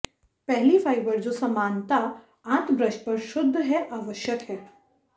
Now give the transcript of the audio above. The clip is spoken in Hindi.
पहली फाइबर जो समानता आंत ब्रश पर शुद्ध है आवश्यक है